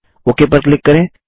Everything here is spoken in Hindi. ओक पर क्लिक करें